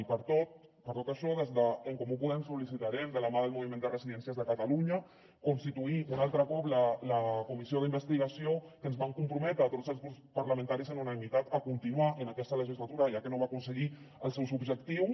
i per tot per tot això des d’en comú podem sol·licitarem de la mà del moviment de residències de catalunya constituir un altre cop la comissió d’investigació que ens vam comprometre tots els grups parlamentaris amb unanimitat a continuar en aquesta legislatura ja que no va aconseguir els seus objectius